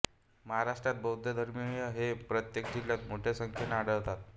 महाराष्ट्रात बौद्धधर्मीय हे प्रत्येक जिल्ह्यात मोठ्या संख्येने आढळतात